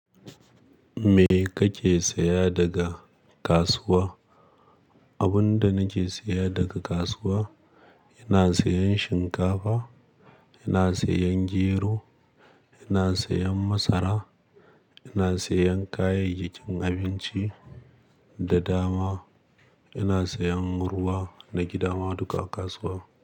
Me kake saya daga kasuwa? Abin da nake saya daga kasuwa, ina sayan shinkafa, ina sayan jero, ina sayan masara, ina sayan kayayyakin abinci da dama. Ina sayan ruwa na gida ma duka kasuwa.